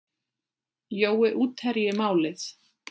Jói útherji málið?